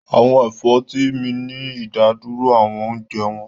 Àwọn ẹ̀fọ́ tí ń mí ní ìdádúró àwọn oúnjẹ wọn